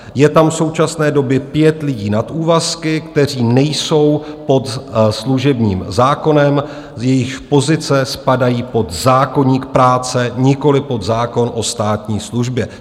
Je tam v současné době pět lidí na úvazky, kteří nejsou pod služebním zákonem, jejichž pozice spadají pod zákoník práce, nikoli pod zákon o státní službě.